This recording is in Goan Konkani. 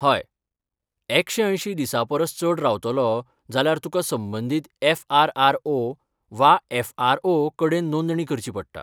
हय, एकशे अंयशी दिसां परस चड रावतलो जाल्यार तुका संबंदीत एफ.आर.आर.ओ. वा एफ.आर.ओ. कडेन नोंदणी करची पडटा.